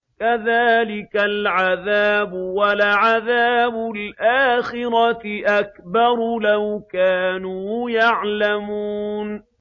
كَذَٰلِكَ الْعَذَابُ ۖ وَلَعَذَابُ الْآخِرَةِ أَكْبَرُ ۚ لَوْ كَانُوا يَعْلَمُونَ